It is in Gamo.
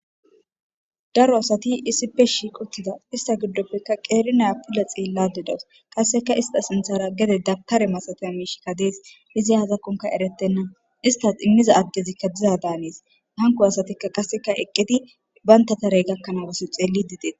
daro asati issippe shiiquttida ista giddopfekka qeerinea pila xeellade dawos qasseka ista sinthara gede dabtare masataya miishikka dees izi hazakkonka eretenna istas immiza addezikka diza daaneis hanko asatikka qasseka eqqedi baynta tarey gakkanaa wosso xeelli didees